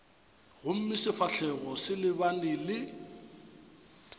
gomme sefahlogo se lebane le